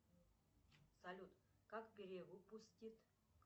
салют как перевыпустить